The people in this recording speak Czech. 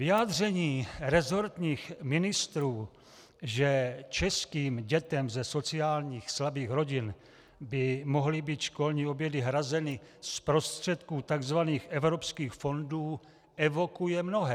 Vyjádření resortních ministrů, že českým dětem ze sociálně slabých rodin by mohly být školní obědy hrazeny z prostředků tzv. evropských fondů, evokuje mnohé.